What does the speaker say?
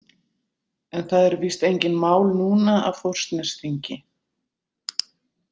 En það eru víst engin mál núna af Þórsnesþingi?